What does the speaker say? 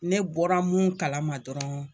Ne bɔra mun kalama dɔrɔn